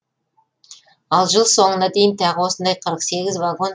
ал жыл соңына дейін тағы осындай қырық сегіз вагон